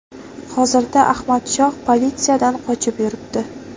Hozirda Ahmad Shoh politsiyadan qochib yuribdi.